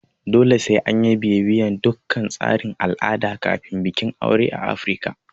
Dole sai anyi bibiyan dukkan tsarin al'ada kafin bikin aure a Afirika